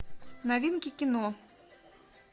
новинки кино